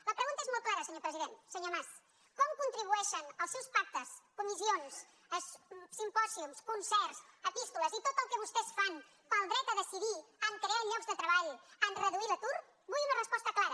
la pregunta és molt clara senyor president senyor mas com contribueixen els seus pactes comissions simpòsiums concerts epístoles i tot el que vostès fan pel dret a decidir a crear llocs de treball a reduir l’atur vull una resposta clara